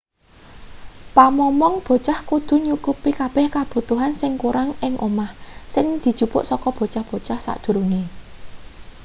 pamomong bocah kudu nyukupi kabeh kabutuhan sing kurang ing omah sing dijupuk saka bocah-bocah sadurunge